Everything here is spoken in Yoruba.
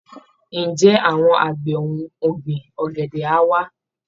Ǹjẹ́ àwọn àgbẹ̀ ohun ọ̀gbìn ọ̀gẹ̀dẹ̀ á wá?